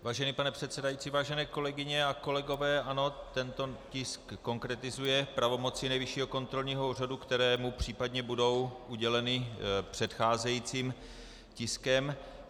Vážený pane předsedající, vážené kolegyně a kolegové, ano, tento tisk konkretizuje pravomoci Nejvyššího kontrolního úřadu, které mu případně budou uděleny předcházejícím tiskem.